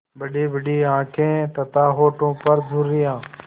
बड़ीबड़ी आँखें तथा होठों पर झुर्रियाँ